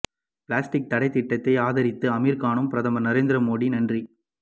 plastic தடை திட்டத்தை ஆதரித்த அமிர்கானுக்கு பிரதமர் நரேந்திர மோடி நன்றி